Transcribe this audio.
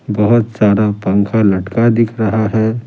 बहुत सारा पंखा लटका दिख रहा है।